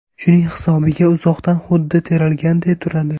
Shuning hisobiga uzoqdan xuddi terilganday turadi.